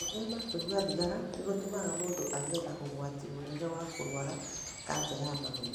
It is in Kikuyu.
Gwĩthema kũnyua thigara nĩ gũtũmaga mũndũ agĩe na ũgwati mũnene wa kũrũara kanja ya mahũri.